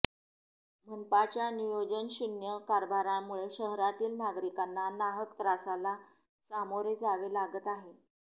मनपाच्या नियोजनशून्य कारभारामुळे शहरातील नागरिकांना नाहक त्रासाला सामोरे जावे लागत आहे